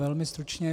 Velmi stručně.